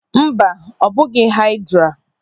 Mba, ọ bụghị haịdra.